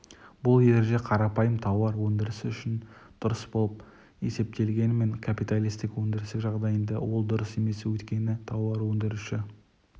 бұл ереже қарапайым тауар өндірісі үшін дұрыс болып есептегенімен капиталистік өндіріс жағдайында ол дұрыс емес өйткені тауар өндіруші